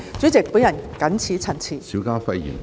主席，我謹此陳辭。